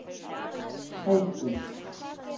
Heiðdís